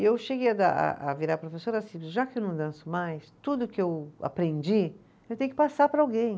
E eu cheguei a dar, a a virar professora assim, já que eu não danço mais, tudo que eu aprendi, eu tenho que passar para alguém.